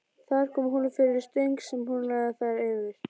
Þar kom hún fyrir stöng sem hún lagði þær yfir.